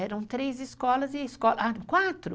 Eram três escolas e a escola... Ah, quatro!